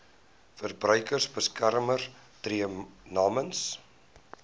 verbruikersbeskermer tree namens